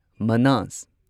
ꯃꯅꯥꯁ